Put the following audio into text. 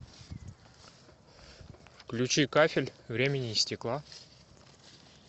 включи кафель времени и стекла